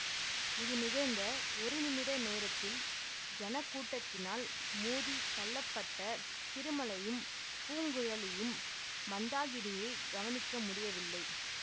இது நிகழ்ந்த ஒரு நிமிட நேரத்தில் ஜனக்கூட்டத்தினால் மோதித் தள்ளப்பட்ட திருமலையும் பூங்குழலியும் மந்தாகினியை கவனிக்க முடியவில்லை